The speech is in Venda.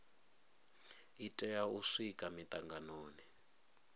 i tea u swika mitanganoni